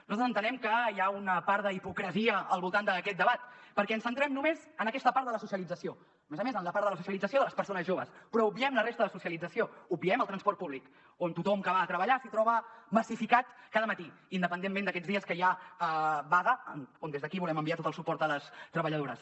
nosaltres entenem que hi ha una part d’hipocresia al voltant d’aquest debat perquè ens centrem només en aquesta part de la socialització a més a més en la part de la socialització de les persones joves però obviem la resta de socialització obviem el transport públic on tothom que va a treballar s’hi troba massificat cada matí independentment d’aquests dies que hi ha vaga on des d’aquí volem enviar tot el suport a les treballadores